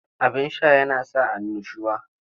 Abin sha yana sa annushuwa.